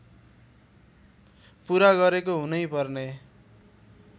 पुरा गरेको हुनैपर्ने